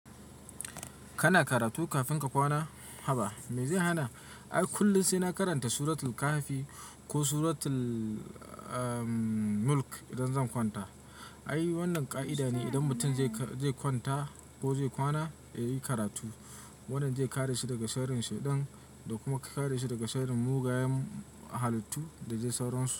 Kana karatu kafin ka kwana, haba me zai hana? Ai kullum sai na karanta Suratul Kahfi ko Suratul, ah, Mulk idan zan kwanta. Ai wannan ƙa'ida ne idan mutum zai kwanta ko zai kwana, ya yi karatu. Wannan zai kare shi daga sharrin shedan da kuma kare shi daga sharrin mugayen halittu da dai sauransu.